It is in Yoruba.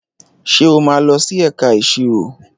Ṣé o máa lọ sí ẹ̀ka ìṣirò?